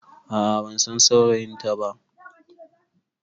A'a bansan saurayinta ba